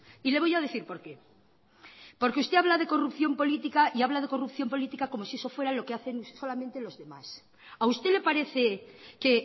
y le voy a decir por qué porque usted habla de corrupción política y habla de corrupción política como si eso fuera lo que hacen solamente los demás a usted le parece que